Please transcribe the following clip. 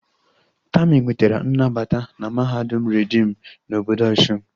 Tami nwetara nnabata na mahadum reedim na obodo Osun